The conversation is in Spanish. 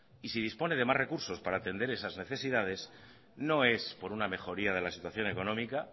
y si dispone de más recursos para atender esas necesidades no es por una mejoría de la situación económica